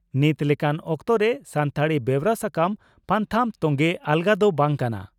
ᱱᱤᱛ ᱞᱮᱠᱟᱱ ᱚᱠᱛᱚᱨᱮ ᱥᱟᱱᱛᱟᱲᱤ ᱵᱮᱣᱨᱟ ᱥᱟᱠᱟᱢ/ᱯᱟᱛᱷᱟᱢ ᱛᱚᱝᱜᱮ ᱟᱞᱜᱟ ᱫᱚ ᱵᱟᱝ ᱠᱟᱱᱟ ᱾